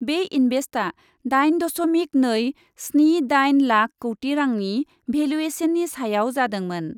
बे इन्भेस्टआ दाइन दशमिक नै स्नि दाइन लाख कौटि रांनि भेलुएसननि सायाव जादोंमोन।